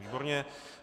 Výborně.